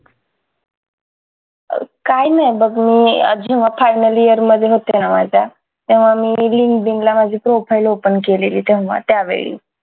काय नाय बघ मी जेव्हा final year मध्ये होते ना माझ्या तेव्हा मी linkedin ला माझी profile open केलेली तेव्हा त्यावेळी